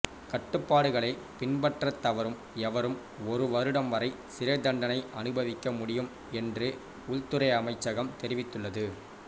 கட்டுப்பாடுகளை பின்பற்றத் தவறும் எவரும் ஒரு வருடம் வரை சிறைத்தண்டனை அனுபவிக்க முடியும் என்று உள்துறை அமைச்சகம் தெரிவித்துள்ளது